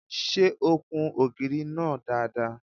Ṣé o kun ògiri náà dáadáa?